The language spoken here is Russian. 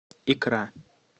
икра